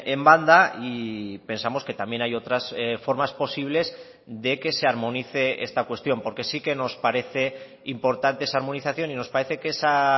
en banda y pensamos que también hay otras formas posibles de que se armonice esta cuestión porque sí que nos parece importante esa armonización y nos parece que esa